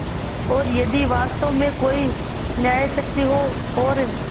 और यदि वास्तव में कोई न्यायशक्ति हो और